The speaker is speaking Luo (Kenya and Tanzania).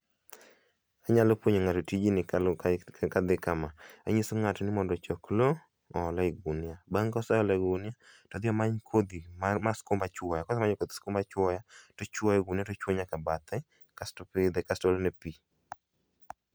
Anyalo puonjo ng'ato tijni kaluore, kadhi kama anyiso ng'ato mondo kochok loo ool e gunia, bang' koseolo kodhi mar skum achuoya, bang' kasemanyo koth skuma achuoya, tichuoyo e gunia tichuoyo nyaka bathe kasto ipidhe kasto iolone pii